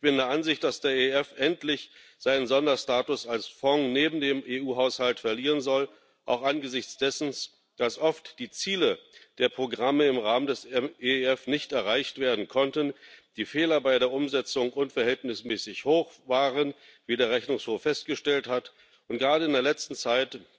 Ich bin der Ansicht, dass der EEF endlich seinen Sonderstatus als Fonds neben dem EU Haushalt verlieren soll, auch angesichts dessen, dass oft die Ziele der Programme im Rahmen des EEF nicht erreicht werden konnten, die Fehler bei der Umsetzung unverhältnismäßig hoch waren, wie der Rechnungshof festgestellt hat, und gerade in der letzten Zeit